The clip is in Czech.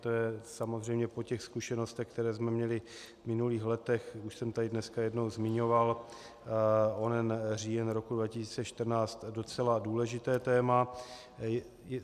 To je samozřejmě po těch zkušenostech, které jsme měli v minulých letech, už jsem tady dneska jednou zmiňoval onen říjen roku 2014, docela důležité téma.